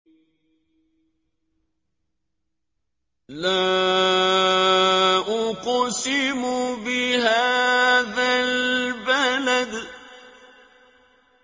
لَا أُقْسِمُ بِهَٰذَا الْبَلَدِ